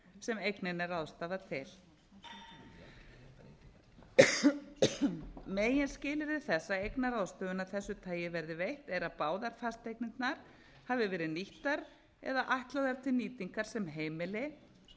sem eigninni er ráðstafað til meginskilyrði þess að eignaráðstöfun af þessu tagi verði veitt er að báðar fasteignirnar hafi verið nýttar eða ætlaðar til nýtingar sem heimili og að sömu